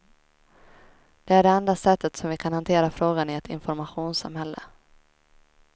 Det är det enda sättet som vi kan hantera frågan i ett informationssamhälle.